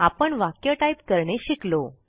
आपण वाक्य टाईप करणे शिकलो